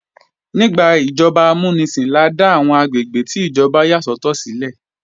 Nígbà ìjọba amúnisìn la dá àwọn àgbègbè tí ìjọba yà sọ́tọ̀ sílẹ̀